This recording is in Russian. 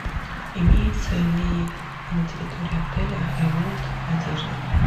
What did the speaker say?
имеется ли на территории отеля ремонт одежды